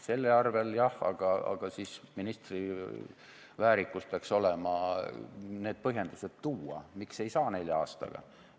Selle arvel jah, aga siis ministri väärikus peaks olema need põhjendused tuua, miks ei saa nelja aastaga.